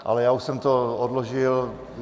Ale já už jsem to odložil.